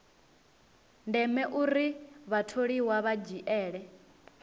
ndeme uri vhatholiwa vha dzhiele